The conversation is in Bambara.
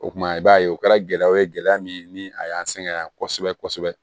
O kumana i b'a ye o kɛra gɛlɛyaw ye gɛlɛya min ni a y'an sɛgɛn yan kosɛbɛ kosɛbɛ